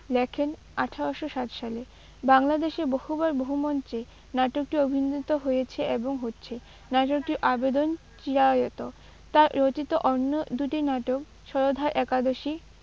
লেখেন আঠারোশো ষাট সালে। বাংলাদেশে বহুবার বহু মঞ্চে নাটকটি অভিনীত হয়েছে এবং হচ্ছে। নাটকটির আবেদন চিরায়ত। তাঁর রচিত অন্য দুটি নাটক সধবার একাদশী